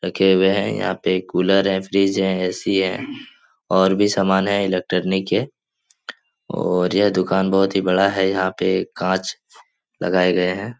रखे हुए हैं। यहाँ पे कूलर हैं फ्रिज है एसी है और भी सामान हैं इलेक्ट्रिक के और ये दुकान बहोत ही बड़ा है। यहाँ पे काँच लगाए गए हैं।